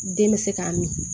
Den bɛ se k'a min